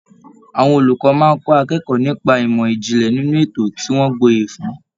Àwọn olùkọ máa n kọ akẹ́kọ̀ọ́ nipa imọ ijinlẹ nínú ètò tí wọn gboye fún.